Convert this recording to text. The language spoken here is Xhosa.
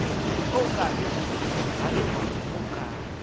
okanye ligatya okanye